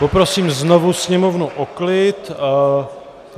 Poprosím znovu sněmovnu o klid.